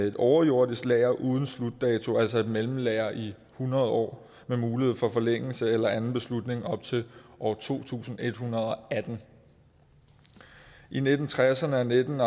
et overjordisk lager uden slutdato altså et mellemlager i hundrede år med mulighed for forlængelse eller anden beslutning op til år to tusind en hundrede og atten i nitten tresserne og nitten